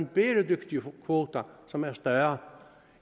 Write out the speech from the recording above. bæredygtige kvoter som er større